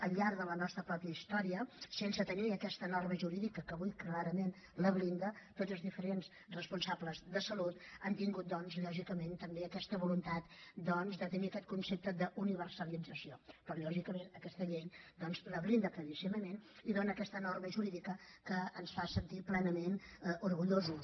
al llarg de la nostra mateixa història sense tenir aquesta norma jurídica que avui clarament la blinda tots els diferents responsables de salut han tingut lògicament tam bé aquesta voluntat de tenir aquest concepte d’universalització però lògicament aquesta llei la blinda claríssimament i dona aquesta norma jurídica que ens en fa sentir plenament orgullosos